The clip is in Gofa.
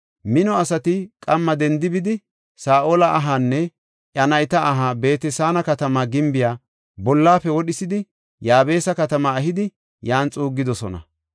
mino asati qamma dendi bidi, Saa7ola ahaanne iya nayta aha Beet-Saana katama gimbiya bollafe wodhisidi Yaabesa katamaa ehidi, yan xuuggidosona.